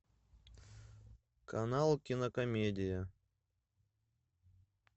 канал кинокомедия